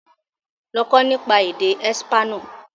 Lọ kọ́ nípa èdè espanol!